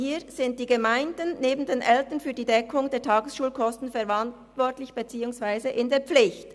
Hier sind die Gemeinden neben den Eltern für die Deckung der Tagesschulkosten verantwortlich beziehungsweise in der Pflicht.